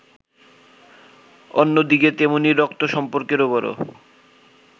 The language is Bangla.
অন্যদিকে তেমনি রক্ত-সম্পর্কেরও বড়ো